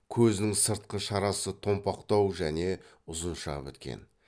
көзінің сыртқы шарасы томпақтау және ұзынша біткен